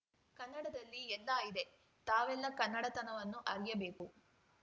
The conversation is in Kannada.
ಕನ್ನಡದಲ್ಲಿ ಎಲ್ಲ ಇದೆ ತಾವೆಲ್ಲ ಕನ್ನಡತನವನ್ನು ಅರಿಯಬೇಕು